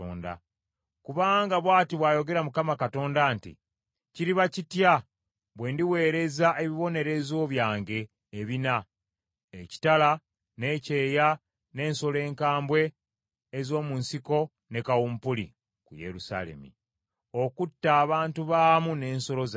“Kubanga bw’ati bw’ayogera Mukama Katonda nti, Kiriba kitya bwe ndiweereza ebibonerezo byange ebina: ekitala n’ekyeya n’ensolo enkambwe ez’omu nsiko ne kawumpuli, ku Yerusaalemi, okutta abantu baamu n’ensolo zaabwe!